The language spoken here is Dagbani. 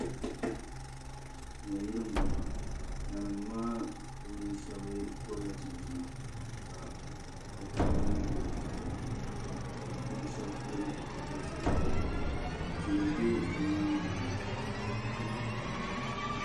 Nayili n boŋo nanim maa puuni shab gobila chinchina ka katawiya nim bɛ zaa zuɣu ka bi puuni shab pili zipili sabila tihi n bɛ bi nyaangi ŋo